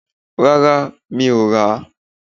Rárá, mi ò rà